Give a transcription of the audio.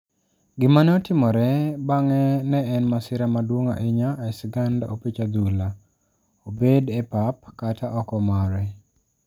Gima ne otimore bang'e ne en masira maduong' ahinya e sigand opich adhula, obed e pap kata oko mare!